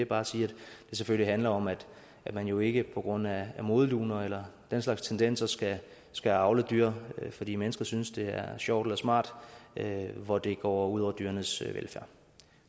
bare sige at det selvfølgelig handler om at man jo ikke på grund af modeluner eller den slags tendenser skal skal avle dyr fordi mennesker synes det er sjovt eller smart hvor det går ud over dyrenes velfærd